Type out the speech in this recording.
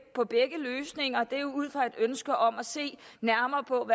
på begge løsninger det er jo ud fra et ønske om at se nærmere på